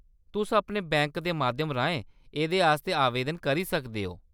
तुस अपने बैंक दे माध्यम राहें एह्‌‌‌देआस्तै आवेदन करी सकदे ओ।